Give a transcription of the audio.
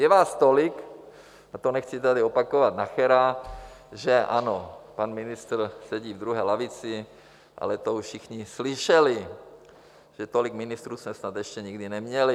Je vás tolik - a to nechci tady opakovat Nachera, že ano, pan ministr sedí v druhé lavici, ale to už všichni slyšeli - že tolik ministrů jsme snad ještě nikdy neměli.